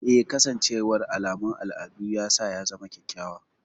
Eh, kasancewar alamun al'adu ya sa ya zama kyakkyawa.